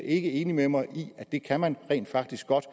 ikke enig med mig i at man rent faktisk godt